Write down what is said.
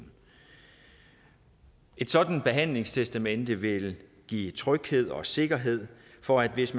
et sådant behandlingstestamente vil give tryghed og sikkerhed for hvis